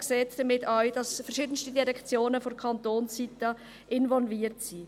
Sie sehen damit auch, dass verschiedenste Direktionen von Kantonsseite involviert sind.